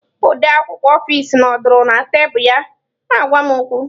Odeakwụkwọ ọfis nọdụrụ na tebụl ya na-agwa m okwu.